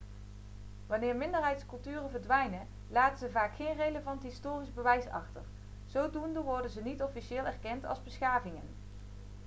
wanneer minderheidsculturen verdwijnen laten ze vaak geen relevant historisch bewijs achter zodoende worden ze niet officieel erkend als beschavingen